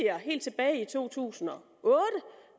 helt tilbage i to tusind og otte